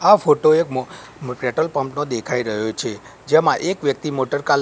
આ ફોટો એક મો પેટ્રોલ પંપ નો દેખાય રહ્યો છે જેમાં એક વ્યક્તિ મોટર કાલ--